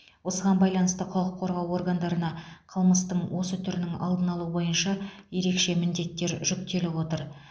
осыған байланысты құқық қорғау органдарына қылмыстың осы түрінің алдын алу бойынша ерекше міндеттер жүктеліп отыр